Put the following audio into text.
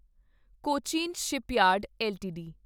Cochin shipyard LTD